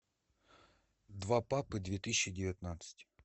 два папы две тысячи девятнадцать